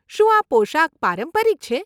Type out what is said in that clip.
શું આ પોશાક પારંપરિક છે?